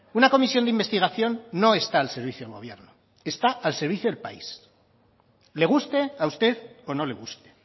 una comisión de investigación no está al servicio del gobierno está al servicio del país le guste a usted o no le guste